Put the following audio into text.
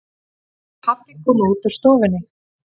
Pabbi kom út úr stofunni.